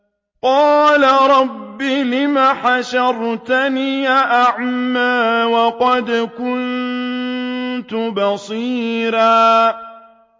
قَالَ رَبِّ لِمَ حَشَرْتَنِي أَعْمَىٰ وَقَدْ كُنتُ بَصِيرًا